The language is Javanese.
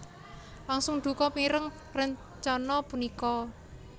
langsung duka mireng rencana punika